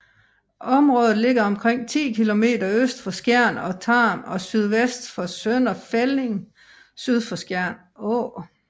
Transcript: Området ligger omkring 10 km øst for Skjern og Tarm og sydvest for Sønder Felding syd for Skjern Å